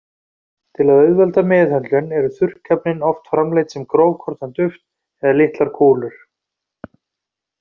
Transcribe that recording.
Til að auðvelda meðhöndlun eru þurrkefnin oft framleidd sem grófkorna duft eða litlar kúlur.